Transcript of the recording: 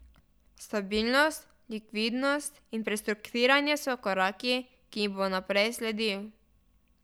Stabilnost, likvidnost in prestruktiriranje so koraki, ki jim bo najprej sledil.